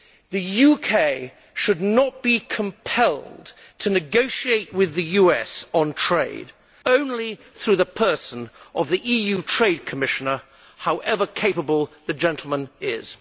The UK should not be compelled to negotiate with the US on trade only through the person of the EU trade Commissioner, however capable the gentleman is.